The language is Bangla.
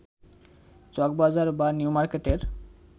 চকবাজার বা নিউমার্কেটের